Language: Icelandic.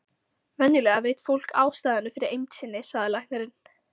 Venjulega veit fólk ástæðuna fyrir eymd sinni, sagði læknirinn.